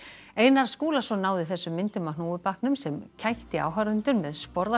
Einar Skúlason náði þessum myndum af hnúfubaknum sem kætti áhorfendur með